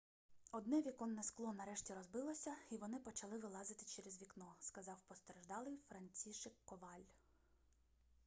одне віконне скло нарешті розбилося і вони почали вилазити через вікно сказав постраждалий францішек коваль